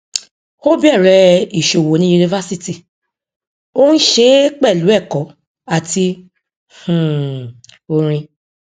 ó bẹrẹ ìṣòwò ní yunifásítì ó ń ṣe é pẹlú ẹkọ àti um orin